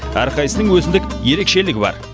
әрқайсының өзіндік ерекшелігі бар